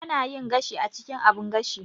Ana yin gashi a cikin abun gashi.